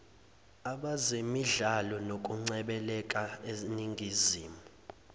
abezemidlalo nokungcebeleka eningizimu